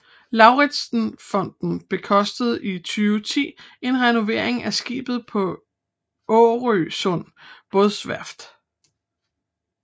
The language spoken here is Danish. Lauritzen Fonden bekostede i 2010 en renovering af skibet på Årøsund Bådeværft